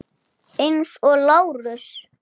Eins og Lárus.